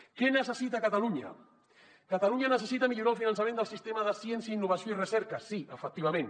què necessita catalunya catalunya necessita millorar el finançament del sistema de ciència innovació i recerca sí efectivament